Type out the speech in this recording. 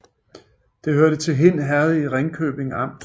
Det hørte til Hind Herred i Ringkøbing Amt